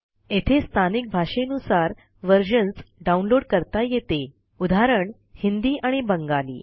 येथे स्थानिक भाषेनुसार व्हर्जन्स डाऊनलोड करता येते उदाहरण हिंदी आणि बंगाली